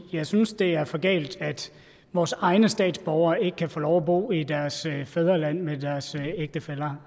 jeg synes at det er for galt at vores egne statsborgere ikke kan få lov at bo i deres fædreland med deres ægtefæller